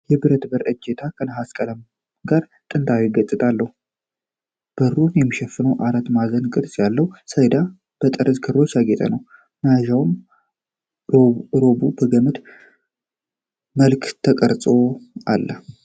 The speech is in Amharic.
የብረቱ በር እጀታ ከነሐስ ቀለም ጋር ጥንታዊ ገጽታ አለው። በሩን የሚሸፍነው አራት ማዕዘን ቅርጽ ያለው ሰሌዳ በጠርዝ ክሮች ያጌጠ ነው። መያዣውና ኖቡ በገመድ መልክ ተቀርጸውአሉ።